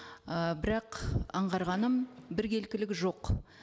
ы бірақ аңғарғаным біркелкілік жоқ